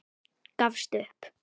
Gafst upp.